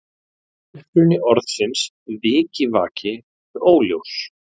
Uppruni orðsins vikivaki er óljós.